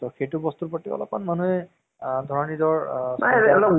হয় । কিছুমান movies ৰ পৰা আমি নিশ্চয় কিবা এটা জ্ঞান পাওঁ, কিছুমান movies বোৰ চালে আমি